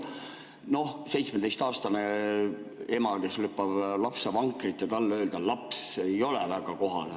Noh, 17‑aastasele emale, kes lükkab lapsevankrit, "laps" öelda ei ole väga kohane.